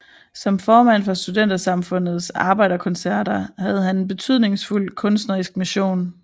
Som formand for Studentersamfundets arbejderkoncerter havde han en betydningsfuld kunstnerisk mission